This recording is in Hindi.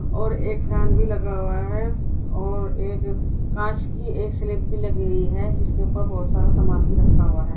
और एक फैन भी लगा हुआ है और एक कांच की एक स्लैब भी लगी हुई है जिसके ऊपर बहुत सारा सामान रखा हुआ है।